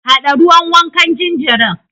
Haɗa ruwan wankan jinjirin.